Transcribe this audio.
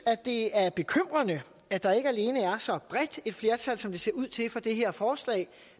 det er bekymrende at der ikke alene er så bredt et flertal som det ser ud til for det her forslag